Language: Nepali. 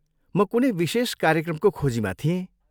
म कुनै विशेष कार्यक्रमको खोजीमा थिएँ।